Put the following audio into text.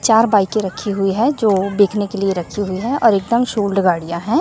चार बाईकें रखी हुई है जो देखने के लिए रखी हुई है और एकदम गाड़ियां हैं।